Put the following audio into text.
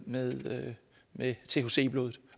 med med thc i blodet